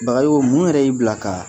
Bagayoko mun yɛrɛ y'i bila kaa